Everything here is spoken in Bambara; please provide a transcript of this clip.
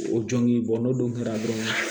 O jɔngɔn n'o dun kɛra dɔrɔn